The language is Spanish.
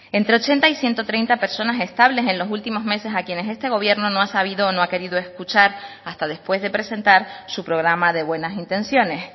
entre ochenta y ciento treinta personas estables en los últimos meses a quienes este gobierno no ha sabido o no ha querido escuchar hasta después de presentar su programa de buenas intenciones